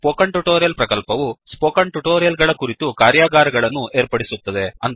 spoken tutorial ಪ್ರಕಲ್ಪವು spoken tutorial ಗಳ ಕುರಿತು ಕಾರ್ಯಾಗಾರಗಳನ್ನು ಏರ್ಪಡಿಸುತ್ತದೆ